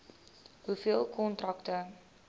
hoeveel kontrakte